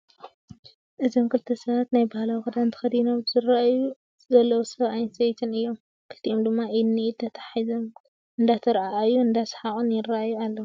እዞም ክልተ ሰባት ናይ ባህላዊ ክዳን ተከዲኖም ዝረአዩ ዘለዉ ሰብኣይን ሰበይትን እዩም ። ክልቲኦም ድማ ኢድን ንኢድ ተታሓሒዞም እንዳተረኣኣዩ እንዳሰሓቁ ይረአዩ ኣለዉ ።